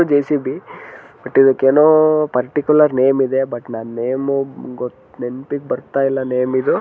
JCB but ಇದಕ್ಕೆ ಎನೋ particular name ಇದೆ ಬಟ್ ನನ್ನ ನೇಮ ಗೊ ನೆನಪಿಗೆ ಬರ್ತಾ ಇಲ್ಲ ನೇಮು ಇದು.